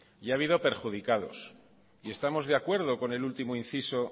y ha habido perjudicados y estamos de acuerdo con el último inciso